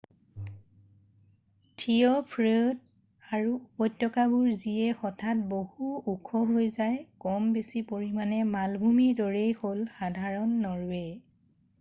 থিয় ফীয়ৰ্ড আৰু উপত্যকাবোৰ যিয়ে হঠাৎ বহু ওখ হৈ যায় কম বেছি পৰিমাণে মালভূমিৰ দৰেই হ'ল সাধাৰণ নৰৱে